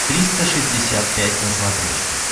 триста шестьдесят пять на смотрешке